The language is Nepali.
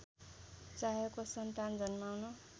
चाहेको सन्तान जन्माउन